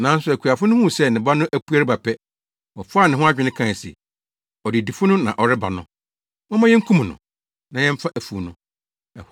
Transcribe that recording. “Nanso akuafo no huu sɛ ne ba no apue reba pɛ, wɔfaa ne ho adwene kae se, ‘Ɔdedifo no na ɔreba no; momma yenkum no, na yɛmfa afuw no!’